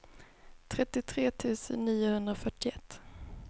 trettiotre tusen niohundrafyrtioett